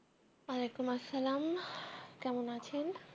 আলাইকুম আসসালাম কেমন আছেন